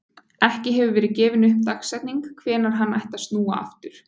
Ekki hefur verið gefin upp dagsetning hvenær hann ætti að snúa aftur.